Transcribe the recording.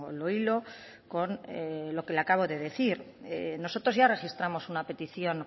lo hilo con lo que le acabo de decir nosotros ya registramos una petición